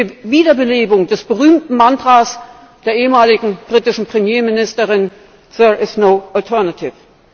Das ist die Wiederbelebung des berühmten Mantras der ehemaligen britischen Premierministerin There is no alternative